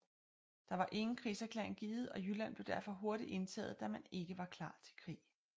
Der var ingen krigserklæring givet og Jylland blev derfor hurtigt indtaget da man ikke var klar til krig